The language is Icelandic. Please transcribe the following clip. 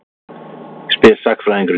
spyr sagnfræðingurinn í mér.